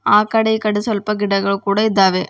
ಆ ಕಡೆ ಈ ಕಡೆ ಸ್ವಲ್ಪ ಗಿಡಗಳು ಇದ್ದಾವೆ.